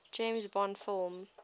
james bond film